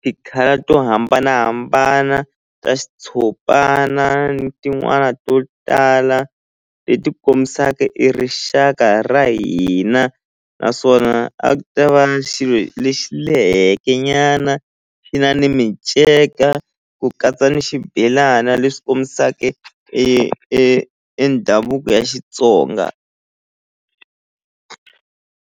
ti-colour to hambanahambana ta xitshopana ni tin'wana to tala leti kombisaka e rixaka ra hina naswona a ku ta va xilo lexi leheke nyana xi na ni minceka ku katsa ni xibelana leswi kombisake e e e ndhavuko ya Xitsonga.